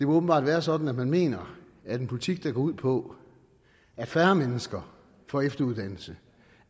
åbenbart være sådan at man mener at en politik der går ud på at færre mennesker får efteruddannelse